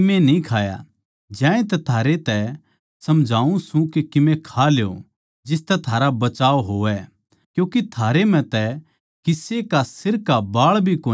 ज्यांतै थारै तै समझाऊँ सूं के कीमे खा ल्यो जिसतै थारा बचाव होवै क्यूँके थारै म्ह तै किसे का सिर का एक बाल भी कोनी गिरैगा